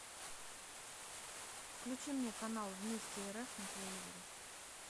включи мне канал вместе рф на телевизоре